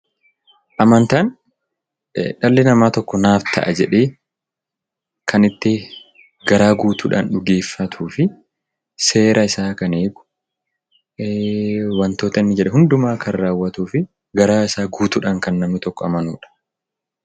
Amantaan dhalli namaa tokko naaf ta'a jedhee kan itti garaa guutuudhaan dhugeeffatuu fi seera isaa kan eegu, wantoota inni jedhe hundumaa kan raawwatuu fi garaasaa guutuudhaan kan namni tokko amanuudha.